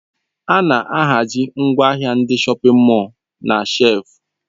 A na-ahazi ngwaahịa dị na shọpin mọl na shelfu.